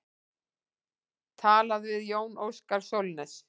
Talað við Jón Óskar Sólnes.